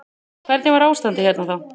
Hvernig var ástandið hérna þá.